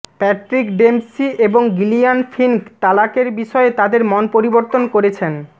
Patrick Dempsey এবং Jillian Fink তালাকের বিষয়ে তাদের মন পরিবর্তন করেছেন